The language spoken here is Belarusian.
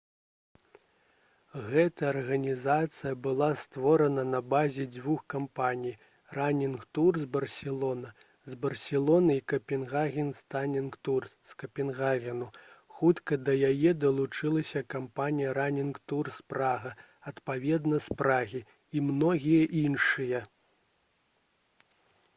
гэтая арганізацыя была створана на базе дзвюх кампаній «ранінг турс барселона» з барселоны і «капенгагенс ранінг турс» з капенгагену. хутка да яе далучылася кампанія «ранінг турс прага» адпаведна з прагі і многія іншыя